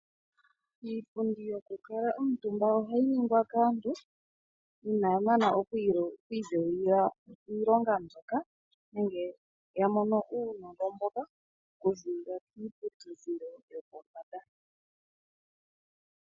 Iipundi yokukala omutumba ohayi ningwa kaantu inaya mana okwiidhewulila iilonga mboka nenge ya mono uunongo mboka kuziilila kiiputudhilo yopombanda.